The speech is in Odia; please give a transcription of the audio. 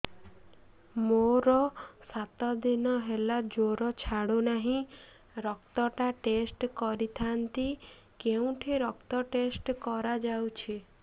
ମୋରୋ ସାତ ଦିନ ହେଲା ଜ୍ଵର ଛାଡୁନାହିଁ ରକ୍ତ ଟା ଟେଷ୍ଟ କରିଥାନ୍ତି କେଉଁଠି ରକ୍ତ ଟେଷ୍ଟ କରା ଯାଉଛି